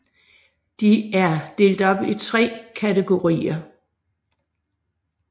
De er delt op i 3 kategorier